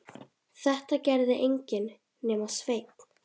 Þetta gerði enginn nema Sveinn.